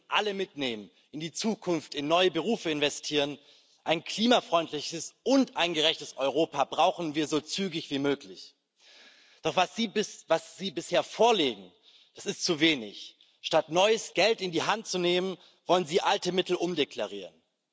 Wir müssen alle in die Zukunft mitnehmen, in neue Berufe investieren ein klimafreundliches und ein gerechtes Europa brauchen wir so zügig wie möglich. Doch was Sie bisher vorlegen, das ist zu wenig. Statt neues Geld in die Hand zu nehmen, wollen sie alte Mittel umdeklarieren.